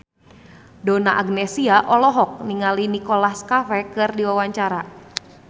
Donna Agnesia olohok ningali Nicholas Cafe keur diwawancara